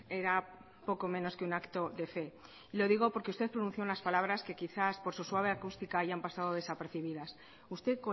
era poco menos que un acto de fe lo digo porque usted pronunció unas palabras que quizás por su suave acústica hayan pasado desapercibidas usted